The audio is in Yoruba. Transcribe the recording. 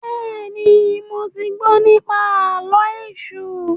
béèni mọ tí gbó nipa Àló̩ Èṣù.